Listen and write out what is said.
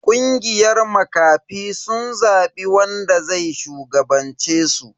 Kungiyar makafi sun zabi wanda zai shugabance su.